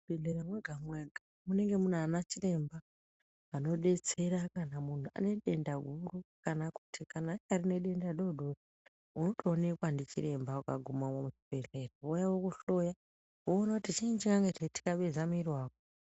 Muchibhedhlera mwega-mwega munee munaana chiremba anodetsera kana muntu anedenda huru kana kuti kana anyari nedenda doodori unotoonekwa ndichiremba ukagumamo muchibhedhlera vouya vokuhliya, voona kuti chiinyi chinenga cheixabeza muiri wako.